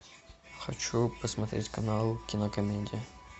хочу посмотреть канал кинокомедия